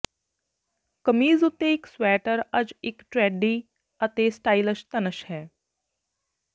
ਕਮੀਜ਼ ਉੱਤੇ ਇੱਕ ਸਵੈਟਰ ਅੱਜ ਇੱਕ ਟਰੈਡੀ ਅਤੇ ਸਟਾਈਲਿਸ਼ ਧਨੁਸ਼ ਹੈ